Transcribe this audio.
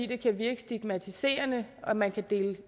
det kan virke stigmatiserende at man kan dele